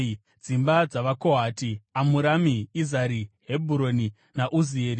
Dzimba dzavaKohati: Amurami, Izhari, Hebhuroni naUzieri.